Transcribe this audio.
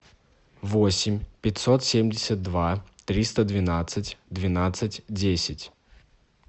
восемь пятьсот семьдесят два триста двенадцать двенадцать десять